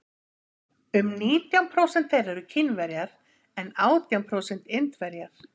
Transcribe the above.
um nítján prósent þeirra eru kínverjar en átján prósent indverjar